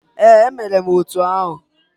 Ee, emere m otu ahụ.